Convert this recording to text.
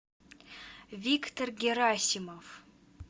виктор герасимов